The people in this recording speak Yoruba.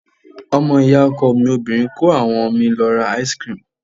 Ọmọ ìyá ọkọ mi obìnrin kó àwọn mi lọ ra ice cream.